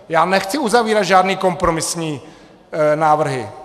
Já nechci uzavírat žádné kompromisní návrhy.